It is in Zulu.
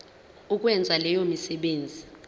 ukwenza leyo misebenzi